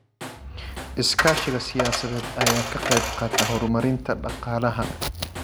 Iskaashiga siyaasadeed ayaa ka qayb qaata horumarinta dhaqaalaha.